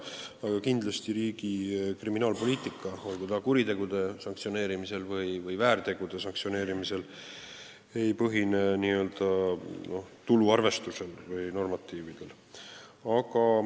Aga kindlasti ei põhine riigi kriminaalpoliitika olgu siis kuritegude või väärtegude sanktsioneerimisel n-ö tuluarvestusel või normatiividel.